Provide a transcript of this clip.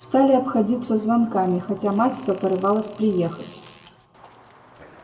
стали обходиться звонками хотя мать все порывалась приехать